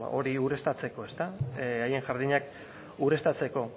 beno ba hori ureztatzeko haien jardinak ureztatzeko